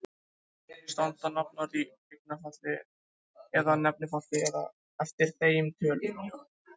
Standa nafnorð í eignarfalli eða nefnifalli eftir þeim tölum?